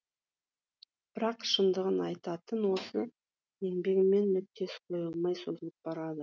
бірақ шындығын айтатын осы еңбегімнің нүктесі қойылмай созылып барады